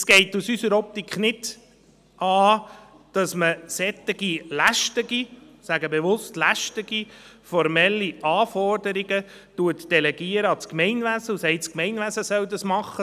Es geht aus unserer Optik nicht an, dass man solche lästigen – ich sage bewusst: lästigen – formellen Aufgaben an das Gemeinwesen delegiert und sagt, das Gemeinwesen solle dies tun.